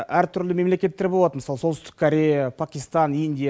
әртүрлі мемлекеттер болады мысалы солтүстік корея пакистан индия